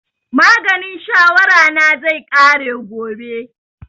Maganin shawara na zai ƙare gobe